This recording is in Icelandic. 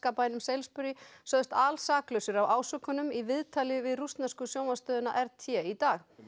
bænum Salisbury sögðust alsaklausir af ásökunum í viðtali við rússnesku sjónvarpsstöðina r t í dag